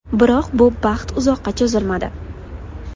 Biroq bu baxt uzoqqa cho‘zilmadi.